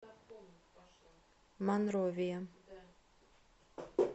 монровия